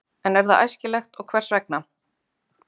En er það æskilegt og hvers vegna?